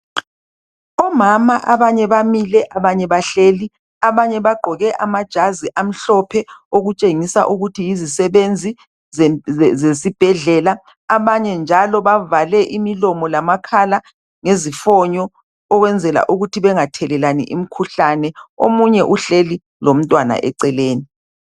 Omama abanye bamile abanye bahlezi bagqoke amajazi amhlophe okutshengisa ukuthi yizisebenzi zesibhedlela abanye njalo bavale imilomo lamakhala mgezifonyoukwenzela ukuthi bengathelelani imikhuhlane omunye uhlezi lomntwana eceleni